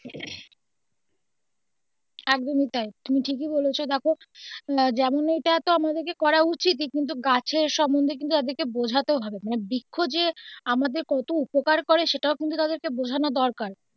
একদমই তাই তুমি ঠিকই বলেছো দেখো যেমন ঐটা তো আমাদেরকে করা উচিতই কিন্তু গাছের সম্বন্ধে কিন্তু তাদের কে বোঝাতেও হবে মানে বৃক্ষ যে আমাদের কত উপকার করে সেটাও কিন্তু ওদের কে বোঝানো দরকার.